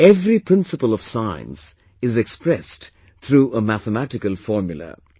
Every principle of science is expressed through a mathematical formula